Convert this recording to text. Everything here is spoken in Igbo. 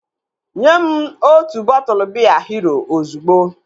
Nyem otu bọtụlu biya Hero ozugbo!